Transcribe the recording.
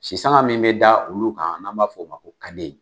Sisanga min bɛ da olu kan n' b'a fɔ o ma ko